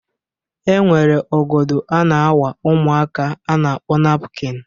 E nwere ọgọdọ a na-awa ụmụaka a na-akpọ napukin.